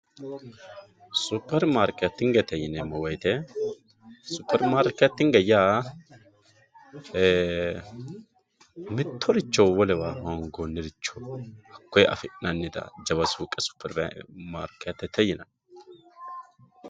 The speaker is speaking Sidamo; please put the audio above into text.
supperimariketingete yineemo woyiite supperimariketingete yaa mittoricho wolewa hoongoonniricho hakoyee afi"nannita jawa suuqe supperimarikeetete yinanni.